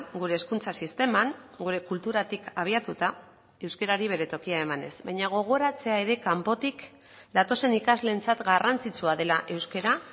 gure hezkuntza sisteman gure kulturatik abiatuta euskarari bere tokia emanez baina gogoratzea ere kanpotik datozen ikasleentzat garrantzitsua dela euskara